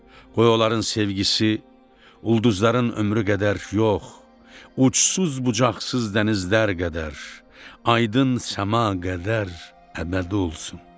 Qoy onların sevgisi ulduzların ömrü qədər yox, uçsuz-bucaqsız dənizlər qədər, aydın səma qədər əbədi olsun.